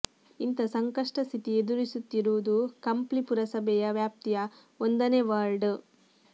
ಇಂಥ ಸಂಕಷ್ಟ ಸ್ಥಿತಿ ಎದುರಿಸು ತ್ತಿರುವುದು ಕಂಪ್ಲಿ ಪುರಸಭೆಯ ವ್ಯಾಪ್ತಿಯ ಒಂದನೇ ವಾರ್ಡ್